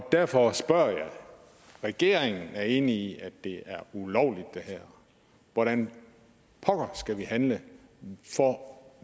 derfor spørger jeg regeringen er enig i at det er ulovligt hvordan pokker skal vi handle for